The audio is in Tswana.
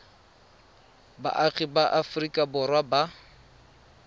baagi ba aforika borwa ba